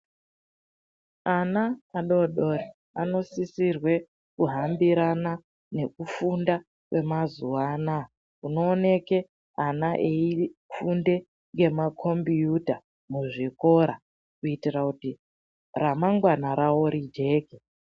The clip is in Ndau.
Ana adodori anosisirwe kuhambirana nekufunda kwemazuva anaya .Unooneke mwana aifunde ngemakombiyuta muzvikora kuitira kuti remangwana ravo rijeke.